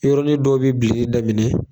Yɔrɔin dɔ bi bilenni daminɛ